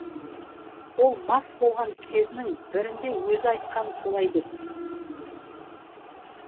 ол мас болған кезінің бірінде өзі айтқан солай деп